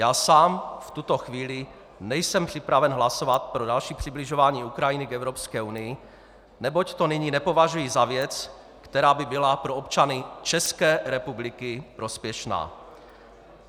Já sám v tuto chvíli nejsem připraven hlasovat pro další přibližování Ukrajiny k Evropské unii, neboť to nyní nepovažuji za věc, která by byla pro občany České republiky prospěšná.